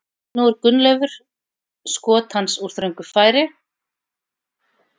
Nú er Gunnleifur skot hans úr þröngu færi.